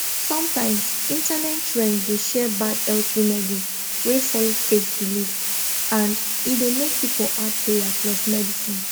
sometimes internet trend dey share bad health remedy wey follow faith belief and e dey make people add prayer plus medicine